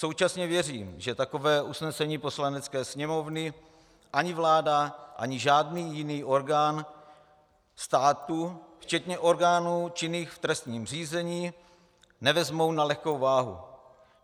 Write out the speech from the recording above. Současně věřím, že takové usnesení Poslanecké sněmovny ani vláda ani žádný jiný orgán státu, včetně orgánů činných v trestním řízení, nevezmou na lehkou váhu.